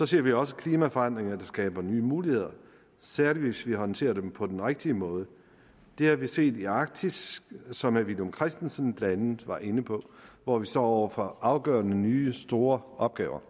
ser vi også klimaforandringer der skaber nye muligheder særlig hvis vi håndterer dem på den rigtige måde det har vi set i arktis som herre villum christensen blandt andet var inde på hvor vi står over for afgørende nye store opgaver